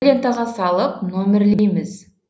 лентаға салып нөмірлейміз